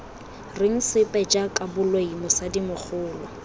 reng sepe jaaka boloi mosadimogolo